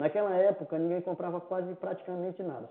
Naquela época, ninguém comprava quase praticamente nada.